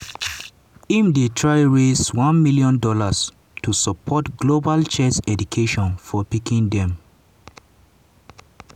im dey try raise $1 million to support global chess education for pikin dem.